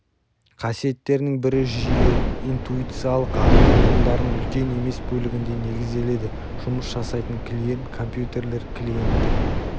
қасиеттерінің бірі жүйе интуициялық анық ұғымдарының үлкен емес бөлігінде негізделеді жұмыс жасайтын клиент компьютерлер клиенттік